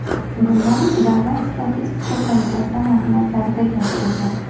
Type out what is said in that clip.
Bundan Davlat statistika qo‘mitasi ma’lumotlarida keltirilgan .